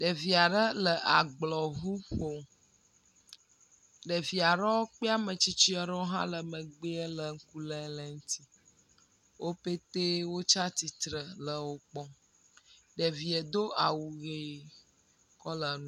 Ɖevia ɖe le agblɔŋu ƒom. Ɖevia ɖewo kple ame tsitsia ɖewo hã le megbeɛ le ŋku le le ŋti. Wopetee wotsa tsitre le wo kpɔm. Ɖevie do awu ʋe kɔ la nu.